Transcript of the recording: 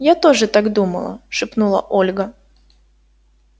я тоже так думала шепнула ольга